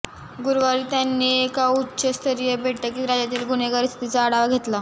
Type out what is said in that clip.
गुरूवारी त्यांनी एका उच्च स्तरीय बैठकीत राज्यातील गुन्हेगारी स्थितीचा आढावा घेतला